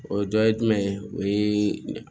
O dɔ ye jumɛn ye o ye